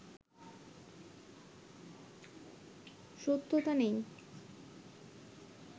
সত্যতা নেই